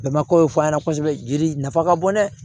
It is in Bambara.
Bɛnbakaw fɔ an ɲɛna kosɛbɛ jiri nafa ka bon dɛ